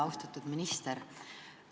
Austatud minister!